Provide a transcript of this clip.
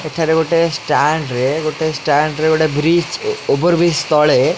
ଏଠାରେ ଗୋଟେ ଷ୍ଟାଣ୍ଡ ରେ ଗୋଟେ ଷ୍ଟାଣ୍ଡ ରେ ଗୋଟେ ବ୍ରିଜ ଓଭର ବ୍ରିଜ ତଳେ--